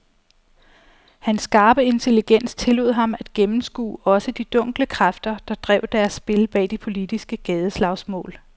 Hans skarpe intelligens tillod ham at gennemskue også de dunkle kræfter, der drev deres spil bag de politiske gadeslagsmål.